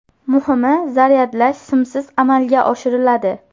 Muhimi, zaryadlash simsiz amalga oshiriladi.